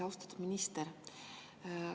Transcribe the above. Austatud minister!